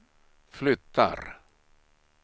flyttar